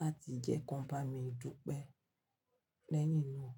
láti jẹ́ kiwon bá mi dupẹ́ lẹ́yìn náà.